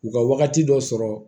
U ka wagati dɔ sɔrɔ